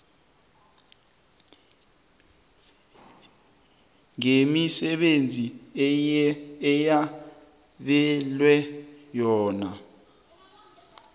ngemisebenzi eyabelwe yona